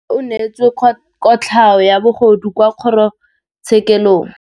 Rragwe o neetswe kotlhaô ya bogodu kwa kgoro tshêkêlông.